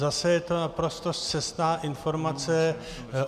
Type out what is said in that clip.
Zase je to naprosto scestná informace.